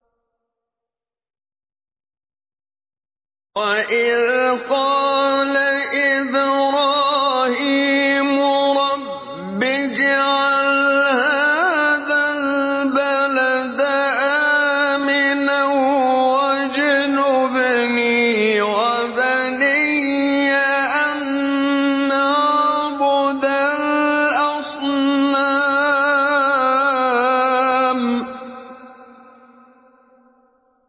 وَإِذْ قَالَ إِبْرَاهِيمُ رَبِّ اجْعَلْ هَٰذَا الْبَلَدَ آمِنًا وَاجْنُبْنِي وَبَنِيَّ أَن نَّعْبُدَ الْأَصْنَامَ